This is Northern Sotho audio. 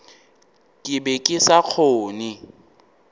ke be ke sa kgone